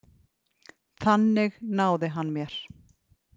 Þannig náði hann mér.